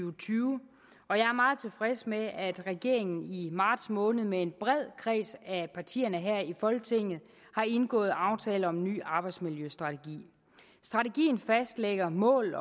og tyve og jeg er meget tilfreds med at regeringen i marts måned med en bred kreds af partier her i folketinget har indgået aftale om en ny arbejdsmiljøstrategi strategien fastlægger mål